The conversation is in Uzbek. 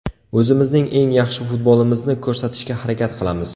O‘zimizning eng yaxshi futbolimizni ko‘rsatishga harakat qilamiz.